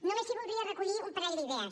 només sí que voldria recollir un parell d’idees